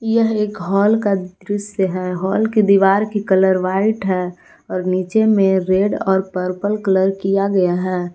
यह एक हॉल का दृश्य है हॉल की दीवार की कलर व्हाइट है और नीचे में रेड और पर्पल कलर किया गया है।